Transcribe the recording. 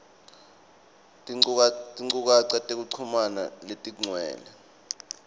tinchukaca tekuchumana letigcwele